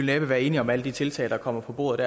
næppe være enige om alle de tiltag der kommer på bordet